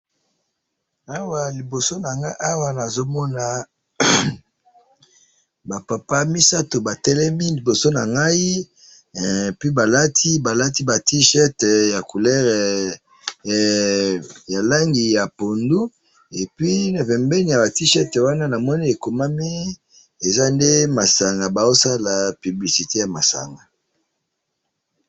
awa liboso nangai awa nazomona ba papa misatu batelemi liboso nangai et puis balati balati ba t shirt ya couleur ya langi ya pondu et puis na pembeni yaba t shirt wana namoni ekomami eza nde masanga bazosala publicite ya masanga